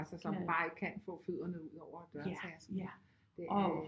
Altså som bare ikke kan få fødderne ud over dørtærsklen